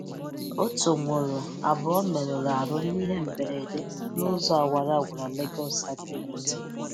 Otu nwụrụ, abụọ mèrùrù ahụ n’ìhè mberede n’ụzọ awara awara Legọsi-Abeokuta.